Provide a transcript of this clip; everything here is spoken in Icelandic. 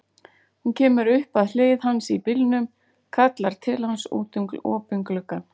Hún kemur upp að hlið hans í bílnum, kallar til hans út um opinn gluggann.